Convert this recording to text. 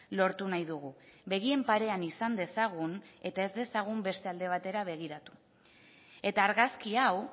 lortu nahi dugu begien parean izan dezagun eta ez dezagun beste alde batera begiratu eta argazki hau